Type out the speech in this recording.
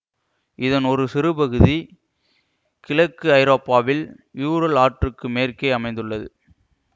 இதன் ஒரு சிறுபகுதி கிழக்கு ஐரோப்பாவில் யூரல் ஆற்றுக்கு மேற்கே அமைந்துள்ளது